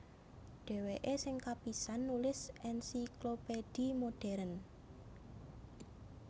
Dhèwèké sing kapisan nulis Encyclopédie modèrn